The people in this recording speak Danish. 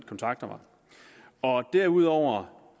kontakter mig derudover